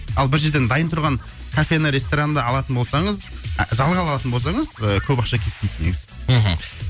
ал бір жерден дайын тұрған кафені ресторанды алатын болсаңыз ы жалға алатын болсаңыз ы көп ақша кетпейді негізі мхм